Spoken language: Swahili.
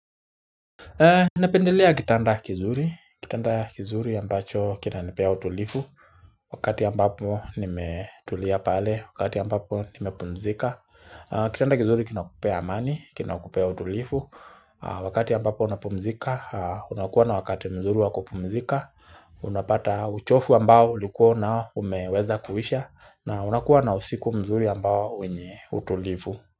Nependelea kitanda kizuri, kitanda kizuri ambacho kinanipea utulifu wakati ambapo nimetulia pale, wakati ambapo nimepumzika. Kitanda kizuri kinakupea amani, kinakupea utulifu, wakati ambapo unapumzika, unakuwa na wakati mzuri wa kupumzika, unapata uchofu ambao ulikuwa na umeweza kuisha na unakuwa na usiku mzuri ambao wenye utulifu.